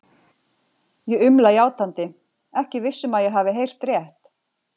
Ég umla játandi, ekki viss um að ég hafi heyrt rétt.